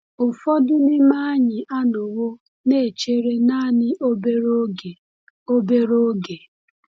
Ụfọdụ n’ime anyị anọwo na-echere naanị obere oge. obere oge.